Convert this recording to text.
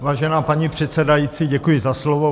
Vážená paní předsedající, děkuji za slovo.